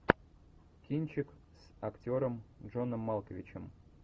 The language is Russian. кинчик с актером джоном малковичем